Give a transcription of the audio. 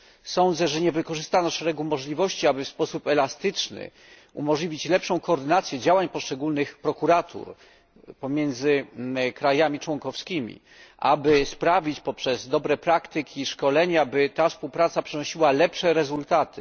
Sądzę, że nie wykorzystano szeregu możliwości, aby w sposób elastyczny umożliwić lepszą koordynację działań poszczególnych prokuratur pomiędzy krajami członkowskimi, aby poprzez dobre praktyki i szkolenia współpraca ta przynosiła lepsze rezultaty.